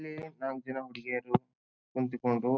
ಇಲ್ಲಿ ನಾಕ ಜನ ಹುಡುಗಿಯರು ಕುಂತಿಕೊಂಡು.